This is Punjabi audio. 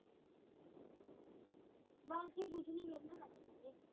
ਬਸ ਜੀ ਕੁੱਛ ਨੀ, ਵੇਹਲੇ ਬੈਠੇ ਸੀਗੇ